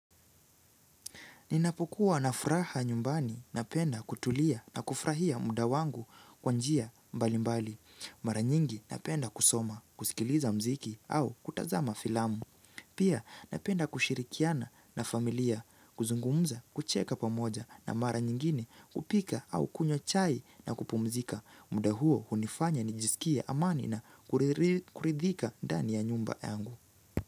Ninapokuwa na furaha nyumbani napenda kutulia na kufurahia muda wangu kwa njia mbalimbali Mara nyingi napenda kusoma kusikiliza mziki au kutazama filamu Pia napenda kushirikiana na familia kuzungumza kucheka pamoja na mara nyingine kupika au kunywa chai na kupumzika muda huo hunifanya nijisikie amani na kuridhika ndani ya nyumba yangu.